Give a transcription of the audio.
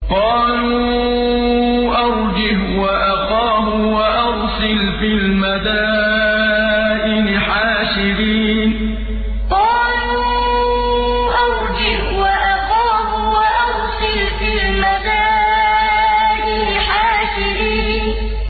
قَالُوا أَرْجِهْ وَأَخَاهُ وَأَرْسِلْ فِي الْمَدَائِنِ حَاشِرِينَ قَالُوا أَرْجِهْ وَأَخَاهُ وَأَرْسِلْ فِي الْمَدَائِنِ حَاشِرِينَ